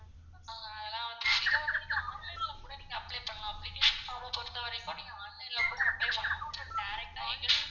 ஆஹ் அதுலான் வந்து இத வந்து நீங்க online ல கூட நீங்க apply பண்லாம் application form அ பொறுத்தவரைக்கும் நீங்க online ல கூட apply பண்லாம் butdirect ஆ வந்து